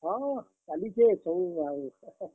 ହଁ, ଚାଲିଛେ ସବୁଦିନ୍ ଆଉ।